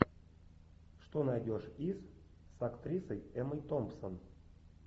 что найдешь из с актрисой эммой томпсон